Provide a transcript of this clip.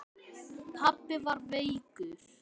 Pabbi var veikur.